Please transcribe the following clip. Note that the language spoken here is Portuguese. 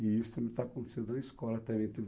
E isso também está acontecendo na escola também